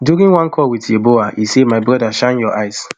during one call wit yeboah e say my brother shine your eyes